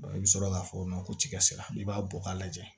i bɛ sɔrɔ k'a fɔ ko tigɛsi sira i b'a bɔ k'a lajɛ